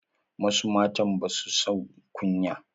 Wasu matan ba sua jin kunya.